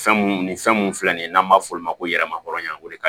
Fɛn mun ni fɛn mun filɛ nin ye n'an b'a f'o ma ko yɛlɛma hɔrɔnya o de ka